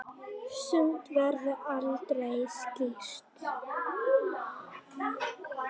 Sumt verður aldrei skýrt.